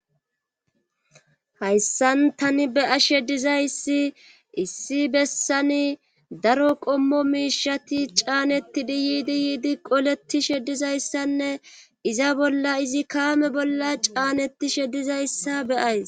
Hayssan tani be'ashe dizayssi issi bessani daro qommo miishati caaneti di yiidi yiidi qoleti sheddizayssanne iza bolla izi kaame bolla caaneti shedizayssa beyays.